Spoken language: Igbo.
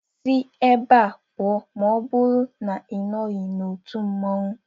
Si ebe a pụọ maọbụru na Ị nọghị n'otu mmanwu!